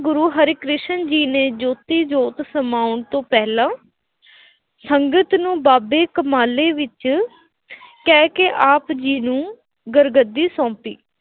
ਗੁਰੂ ਹਰਿਕ੍ਰਿਸ਼ਨ ਜੀ ਨੇ ਜੋਤੀ-ਜੋਤ ਸਮਾਉਣ ਤੋਂ ਪਹਿਲਾਂ ਸੰਗਤ ਨੂੰ ਬਾਬੇ ਕਮਾਲੇ ਵਿੱਚ ਕਹਿ ਕੇ ਆਪ ਜੀ ਨੂੰ ਗੁਰੂ-ਗੱਦੀ ਸੌਂਪੀ।